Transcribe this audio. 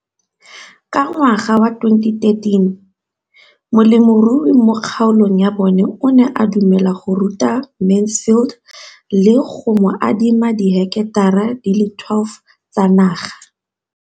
Ka ngwaga wa 2013, molemirui mo kgaolong ya bona o ne a dumela go ruta Mansfield le go mo adima di heketara di le 12 tsa naga.